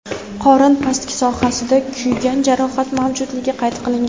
qorin pastki sohasida kuygan jarohat mavjudligi qayd qilingan.